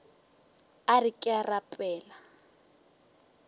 a re ke a rapela